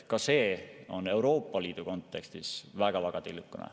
Ka see kogus on Euroopa Liidu kontekstis väga-väga tillukene.